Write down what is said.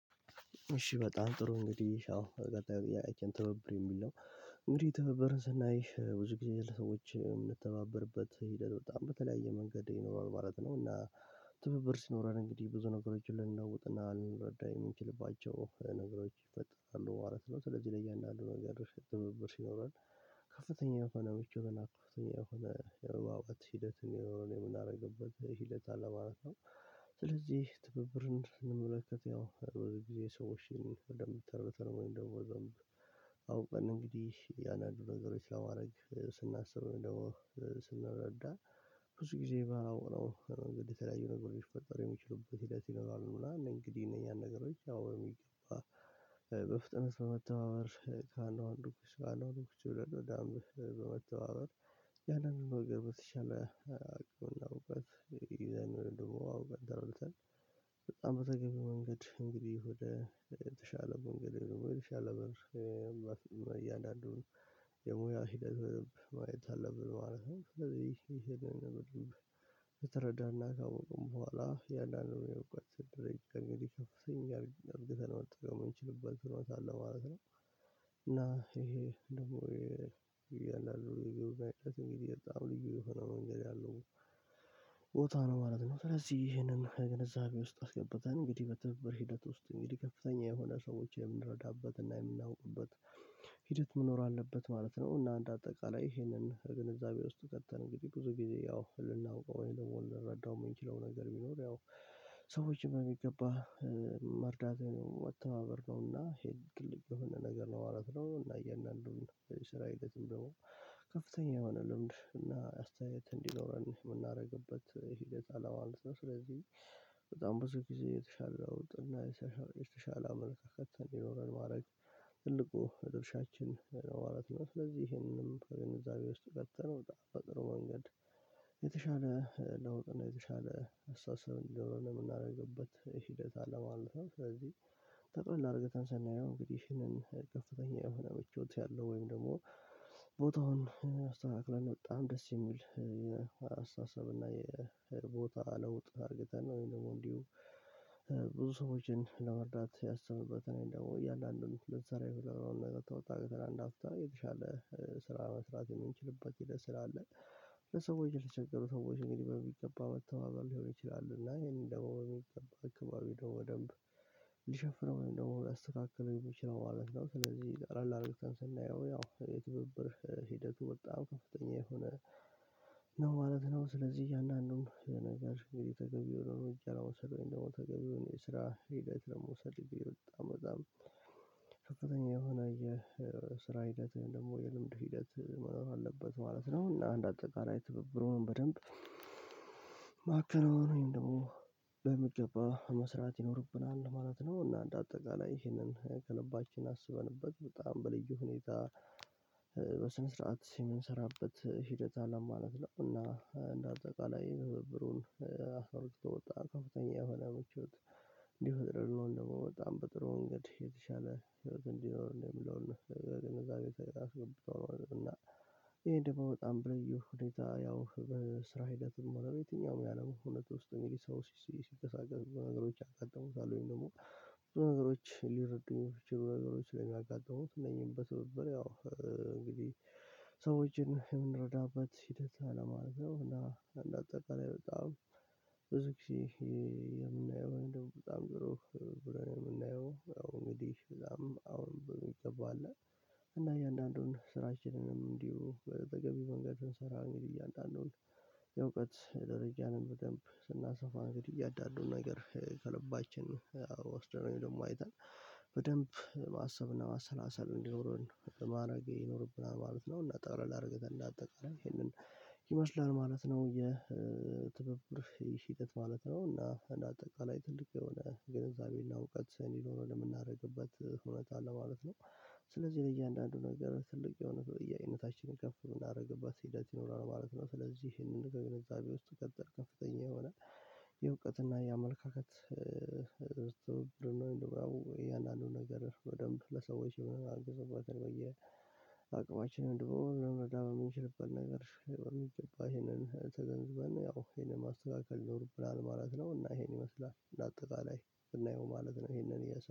እሺ በጣም ጥሩ እንግዲህ አዎ ቀጣይ ትበብር የሚል ነው። እንግዲህ ትብብርን ስናይ ብዙ ጊዜ ለሰዎች የምንተባበርበት ሂደት በጣም በተለያየ መንገድ ይኖራል ማለት ነው እና ትብብር ሲኖረን እንግዲህ ብዙ ነገሮችን ልንለውጥና ልንረዳ የምንችልባቸው ነገሮች ይፈጥራሉ ማለት ነው። ስለዚህ ለእያንዳንዱ ነገር ትብብር ሲኖረን ከፍተኛ የሆነ ምቹ የሆነ ከፍተኛ የሆነ የመግባባት ሂደት እንዲኖረን የምናደርግበት ሂደት አለ ማለት ነው። ስለዚህ ትብብርን እንመለከት ያው ብዙ ጊዜ ሰው እሺ ወይም ደግሞ አውቀን እንግዲህ እያንዳንዱን ነገሮች ለማድረግ ስናስብ ወይም ደግሞ ስንረዳ ብዙ ጊዜ ባላወራው መንገድ የተለያዩ ነገሮች ምፍጠር የሚችሉበት ሂደት ይኖራሉ ምናምን እንግዲህ እነኛን ነገሮች ያው የሚገባ በፍጥነት በመተባበር ከአንዷ አንዱ አንዱ ችሎ ዳግም በመተዋበር ያንንም ነገር በተሻለ አቁመውበት። አዎ። በጣም በተገኘው መንገድ እንግዲህ ወደ ተሻለ መንገድ የሆነ የተሻለ በር እያንዳንዱን የሙያ ሂደት ማየት አለብን ማለት ነው። ስለዚህ ይሄንን ብር ከተረዳንና ካወቅን በኋላ የአንዳንዱን የምትሰራው እንግዲህ አብዛኛው ገዝተህ ነው የምንጠቀመው የምንችልበት ስለሆነ ማለት ነው። እና ይሄ ደግሞ እያንዳንዱ በጣም ልዩ የሆነ መንገድ ያለው ቦታ ነው ነው ማለት ነው። ስለዚህ ይህንን ግንዛቤ ውስጥ አስገብተን እንግዲህ በትብብር ሂደት ውስጥ እንግዲህ ከፍተኛ የሆነ ሰዎችን የምንረዳበትና የምናውቅበት ሂደት መኖር አለበት ማለት ነው። እና አንደ አጠቃላይ ይሄንን ግንዛቤ ውስጥ ተከተን እንግዲህ ብዙ ጊዜ ያው ልናውቀው ወይም ደግሞ ልንረዳው የምንችለው ነገር ቢኖር ያው ሰዎችን በሚገባ መርዳት መተባበር ነውና ይሄ ከልብ የሆነ ነገር ነው ማለት ነው። እና እያንዳንዱን ስራ የዝምደው ከፍተኛ የሆነ ልምድ እና አስተያየት እንዲኖረን የምናደርግበት ሂደት አለ ማለት ነው። ስለዚህ በጣም ብዙ ጊዜ የተሻለ ለውጥና የተሻለ አመለካከት እንዲኖረን ማድረግ ትልቁ ድርሻችን ነው ማለት ነው። ስለዚህ ይሄንንም ከንዛቤ ውስጥ ከተነው በጣም በጥሩ መንገድ የተሻለ ለውጥ እና የተሻለ አስተሳሰብ እንዲኖረን የምናደርግበት ሂደት አለ ማለት ነው። ስለዚህ ጥቅልል አርግተን ስናየው እንግዲህ ይሄንን ከፍተኛ የሆነ ምቾት ያለው ወይም ደግሞ ቦታውን አስተካክለን በጣም ደስ የሚል አስተሳሰብ እና የቦታ ለውጥ አድርግተን ነው ወይም ደግሞ እንዲሁ ብዙ ሰዎችን ለመርዳት ያሰብንበት ወይም ደግሞ እያንዳንዱን ልትሰራ የምትችለውን ነገር ተወጣጥተን አንድ አፍታ የተሻለ ስራ መስራት የምንችልበት ሂደት ስላለ። ለሰዎች ለተቸገሩ ሰዎች እንግዲህ በሚገባ መተባበር ሊሆን ይችላሉ እና ይሄንን ደግሞ በሚገባ ደግሞ በደንብ ሊሸፍነው ወይም ደግሞ ሊያስተካክለው የሚችለው ማለት ነው። ስለዚህ ጠቅለል አድርገን ስናየው ያው የትብብር ሂደቱ በጣም ከፍተኛ የሆነ ነው ማለት ነው። ስለዚህ አንዳንዱም ነገር እንግዲህ ተገቢ የሆነ መንገድ አላወሰድንም ደግሞ ተገቢውን የስራ ሂደት ለመውሰድ በጣም በጣም ከፍተኛ የሆነ የስራ ሂደት ደግሞ የልምድ ሂደት መኖር አለበት ማለት ነው። እና አንድ አጠቃላይ ትብብሩን በደንብ ማከናወን ወይም ደግሞ በሚገባ መስራት ይኖርብናል ማለት ነው። እና እንደ አጠቃላይ ይሄንን ከልባችን አስበንበት በጣም በልዩ ሁኔታ በስነ ስርዓት ሲምን ስራበት ሂደት አለ ማለት ነው። እና እንደ አጠቃላይ ትብብሩን አስርቶ የወጣ ከፍተኛ የሆነ አመት ህይወት ሊፈጥር ይሆን ደግሞ በጣም በጥሩ እንግዲህ የተሻለ ህይወት እንዲኖር ነው የሚለውን ግንዛቤ አስገብቶ ነው። እና ይሄ ደግሞ በጣም በልዩ ሁኔታ ያው ስራ ሂደትም ሆነ የትኛውም የአለም ሁነት ውስጥ እንግዲህ ሰው ሲንቀሳቀስ በዙ ነገሮች ያጋጥሙታል ወይም ደግሞ ብዙ ነገሮች ሊረዱ የሚችሉ ነገሮች ስለሚያጋጥሙት እነዚህን በትብብር ያው እንግዲህ ሰዎችን የምንረዳበት ሂደት አለ ማለት ነው። እና እንደ አጠቃላይ በጣም ብዙ ጊዜ የምናየው በጣም ጥሩ ብለን የምናየው አዎ ንግዲህ እዛም አዎን በሚገባ አለ። እና እያንዳንዱን ስራችንንም እንዲሁ በተገቢ መንገድ ብንሰራ እንግዲህ እያንዳንዱን የእውቀት የደረጃንም በደንብ ስናሰፋ እንግዲህ እያንዳንዱን ነገር ከልባችን ወስደን ወይም ደግሞ አይተን በደንብ ማሰብና ማሰላሰል እንዲኖረን ማድረግ ይኖርብናል ማለት ነው። እና ጠቅለል አድርገን እንዳጠቃላይ ይሄንን ይመስላል ማለት ነው የትብብር ሂደት ማለት ነው። እና እንደ አጠቃላይ ትልቅ የሆነ ግንዛቤና እውቀት እንዲኖረን የምናደርግበት እውነት አለ ማለት ነው። ስለዚህ ለእያንዳንዱ ነገር ትልቅ የሆነ ተጠያቂነታችንን ከፍ እምናደርግበት ሂደት ይኖራል ማለት ነው። ስለዚህ ይሄንን ግንዛቤ ውስጥ ከተን ከፍተኛ የሆነ የእውቀትና የአመለካከት የአንዳንዱ ነገር በደንብ ለሰዎች የሆነ አግዞ በየ አቅማችን እንዲሁ ልንረዳ በምንችልበት ነገር በሚገባ ይሄንን ተገንዝበን ያው ይሄንን ማስተካከል ይኖርብናል ማለት ነው። እና ይሄን ይመስላል እንደ አጠቃላይ ብናየው ማለት ነው። ይሄንን እየ